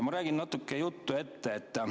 Ma räägin natuke juttu ette.